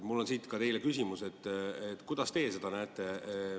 Mul on siit ka teile küsimus, kuidas teie seda näete.